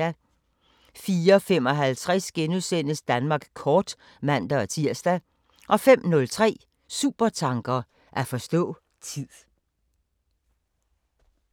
04:55: Danmark kort *(man-tir) 05:03: Supertanker: At forstå tid